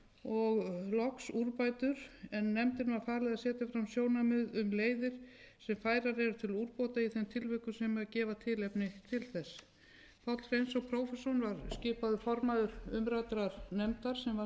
og loks úrbætur en nefndinni var falið að setja fram sjónarmið um leiðir sem færar eru til úrbóta í þeim tilvikum sem gefa tilefni til þess páll hreinsson prófessor var skipaður formaður umræddrar nefndar samkvæmt skýrslu sem lögð var fyrir